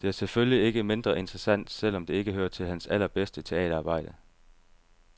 Det er selvfølgelig ikke mindre interessant selv om det ikke hører til hans allerbedste teaterarbejde.